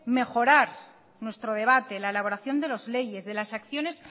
mejorar nuestro debate la elaboración de las leyes de las acciones